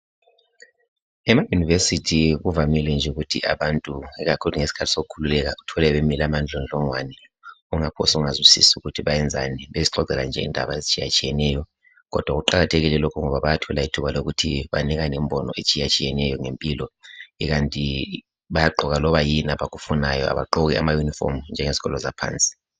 EmaYunivesithi kuvamile nje ukuthi abantu ikakhulu ngesikhathi sokukhululeka uthole bemile amandlondlongwane ungaphose ungazwisisi ukuthi benzani bezixoxela nje ngendaba ezitshiyetshiyeneyo kodwa kuqakathekile lokhu ngoba bayathola ithuba lokuthi banikane imbono etshiyatshiyeneyo ngempilo ikanti bayagqoka loba yini abayifunayo abagqoki amayunifomu njengezikolo zaphansi